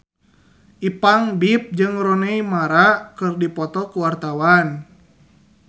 Ipank BIP jeung Rooney Mara keur dipoto ku wartawan